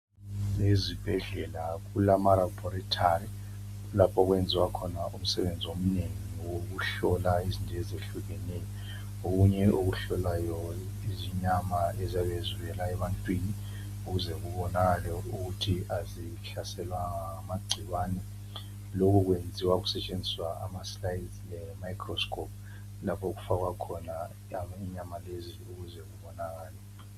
Ezibhedlela kuma laboratory , kulapho okwenziwa khona umsebenzi omnengi owokuhlola izinto ezehlukeneyo , okunye okuhlolayo izinyama eziyabe zivela ebantwini ukuze kubonakale ukuthi azihlaselwanga ngamagcikwane , lokhu okwenziwa kusetshenziswa ama slides microscope lapha okufakwa khona izinyama lezi ukuze kubonakale